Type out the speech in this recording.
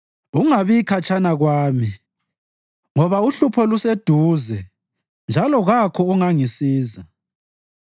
Ungabi khatshana kwami, ngoba uhlupho luseduze njalo kakho ongangisiza.